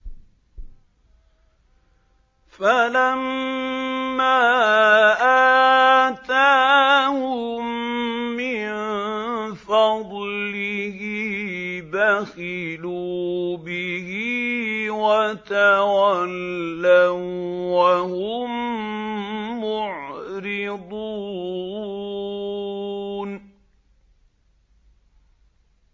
فَلَمَّا آتَاهُم مِّن فَضْلِهِ بَخِلُوا بِهِ وَتَوَلَّوا وَّهُم مُّعْرِضُونَ